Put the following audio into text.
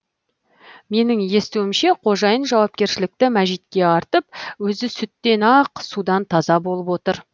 менің естуімше қожайын жауапкершілікті мәжитке артып өзі сүттен ақ судан таза болып отыр